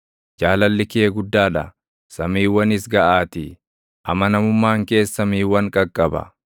Jaalalli kee guddaa dha; samiiwwanis gaʼaatii; amanamummaan kees samiiwwan qaqqaba.